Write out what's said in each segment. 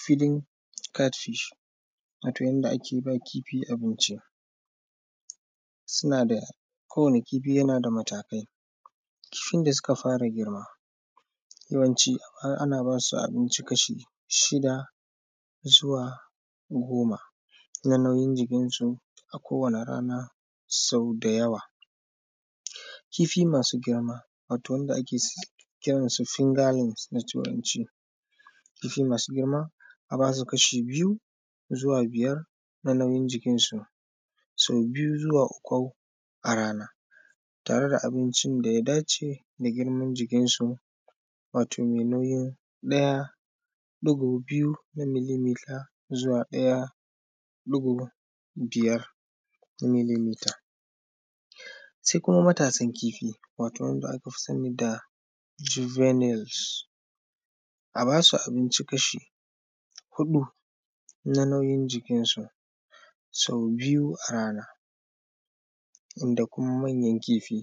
“Feeding cat fish”, wato yanda ake ba kifi abinci, suna da; kowane kifi yana da matakai. Lokacin da suka fara girma, yawanci a; ana ba su abinci kashi shida zuwa goma, kuma nauyin jikinsu a kowane rana sau da yawa. Kifi masu girma, wato wanda ake s; kiran su “finger links” da Turanci. Kifi masu girma, a ba su kashi biyu zuwa biyar na nauyin jikinsu, sau biyu zuwa uku a rana tare da abincin da ya dace da girman jikinsu, wato me nauyin ɗaya, ɗigo biyu na “milimetre” zuwa ɗaya; ɗigo biyar na “milimetre”. Se kuma matasan kifi, wato wanka aka fi sani da “Juvenuels”, a ba su abinci kashi huɗu na nauyin jikinsu sau biyu a rana. Inda kuma, manyan kifi,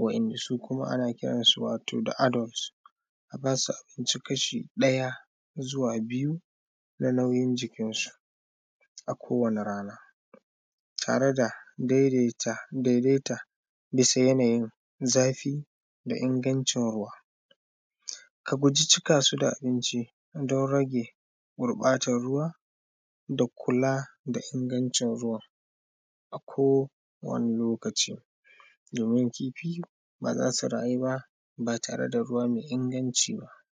wa’yanda su kuma ana kiran su wato da “adults”, a ba su abinci kashi ɗaya zuwa biyu na nauyin jikinsu a kowane rana tare da dedeta; dedeta bisa yanayin zafi da ingancin ruwa. A guji cika su da abinci, don rage gurƃatan ruwa da kula da ingancin ruwan a kowane lokaci, domin kifi ba za su rayu ba, ba tare da ruwa me inaganci ba.